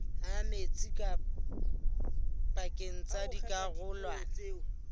ha metsi pakeng tsa dikarolwana